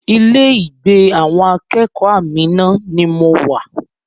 Ilé ìgbé àwọn akẹ́kọ̀ọ́ Amina ni mo wà